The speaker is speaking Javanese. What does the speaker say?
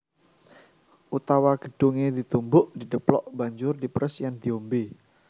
Utawa godhongé ditumbuk/didheplok banjur diperes lan diombé